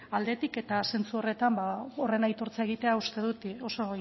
aldetik eta zentzu horretan ba horren aitortza egitea uste dut oso